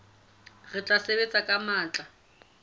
re tla sebetsa ka matla